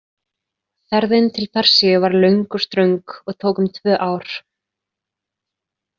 Ferðin til Persíu var löng og ströng og tók um tvö ár.